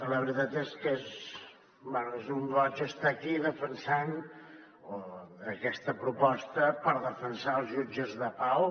la veritat és que és un goig estar aquí defensant aquesta proposta per defensar els jutges de pau